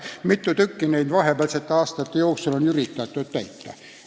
Mis te arvate, kui mitut neist vahepealsete aastate jooksul on üritatud täita?